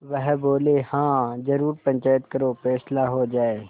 वह बोलेहाँ जरूर पंचायत करो फैसला हो जाय